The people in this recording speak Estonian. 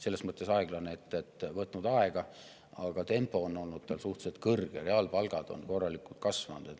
Selles mõttes aeglane, et see on võtnud aega, aga selle tempo on olnud suhteliselt kiire, reaalpalgad on korralikult kasvanud.